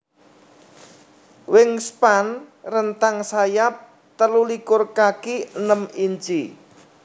WingSpan rentang sayap telulikur kaki enem inchi